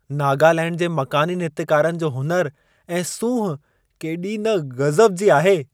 नागलैण्ड जे मक़ानी नृत्यकारनि जो हुनुर ऐं सूंहं केॾी न गज़ब जी आहे।